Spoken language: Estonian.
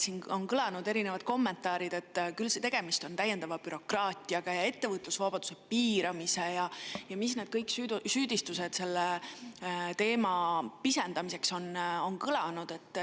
Siin on kõlanud erinevad kommentaarid selle kohta, et küll on tegemist täiendava bürokraatiaga, ettevõtlusvabaduse piiramisega või mis need süüdistused on olnud selle teema pisendamiseks.